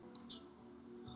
Gera þeir, sem heyi hlaða.